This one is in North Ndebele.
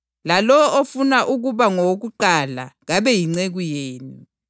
lalowo ofuna ukuba ngowokuqala kabe yinceku yenu,